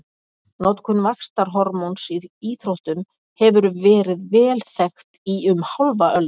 Notkun vaxtarhormóns í íþróttum hefur verið vel þekkt í um hálfa öld.